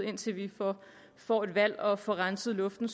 indtil vi får et valg og at får renset luften